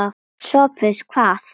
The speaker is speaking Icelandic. SOPHUS: Hvað?